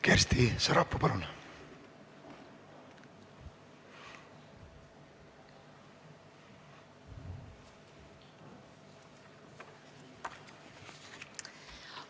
Kersti Sarapuu, palun!